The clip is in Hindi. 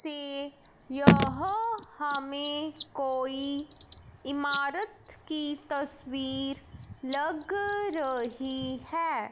सी यह हमें कोई इमारत की तस्वीर लग रही है।